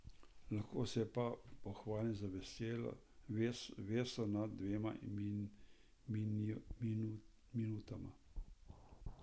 Lahko se pa pohvalim z veso nad dvema minutama.